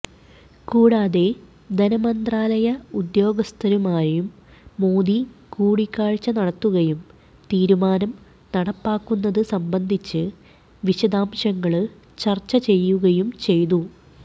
കൂടാതെ ധനമന്ത്രാലയ ഉദ്യോഗസ്ഥരുമായും മോദി കൂടിക്കാഴ്ച നടത്തുകയും തീരുമാനം നടപ്പാക്കുന്നത് സംബന്ധിച്ച് വിശദാംശങ്ങള് ചര്ച്ച ചെയ്യുകയും ചെയ്തു